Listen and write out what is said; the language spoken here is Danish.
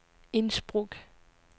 Innsbruck